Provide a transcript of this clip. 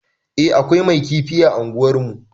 Eh akwai mai kifi a unguwar mu